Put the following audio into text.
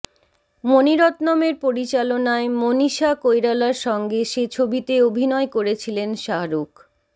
মণিরত্নমের পরিচালনায় মনীষা কৈরালার সঙ্গে সে ছবিতে অভিনয় করেছিলেন শাহরুখ